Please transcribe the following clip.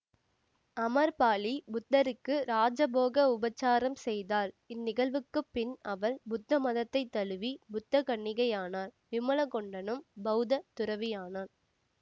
அமர்பாலி புத்தருக்கு ராஜபோக உபச்சாரம் செய்தாள் இந்நிகழ்வுக்குப்பின் அவள் புத்த மதத்தை தழுவி புத்தகன்னிகையானாள் விமல கொண்டணனும் பௌத்த துறவியானான்